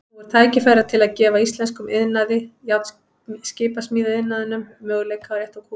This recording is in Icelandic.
Nú er tækifæri til að gefa íslenskum iðnaði, skipasmíðaiðnaðinum, möguleika á að rétta úr kútnum.